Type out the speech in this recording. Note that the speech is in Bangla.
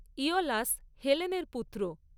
ঈওলাস হেলেনের পুত্র